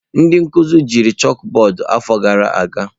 Ndị nkuzi jiri chakụbọọdụ afọ gara aga.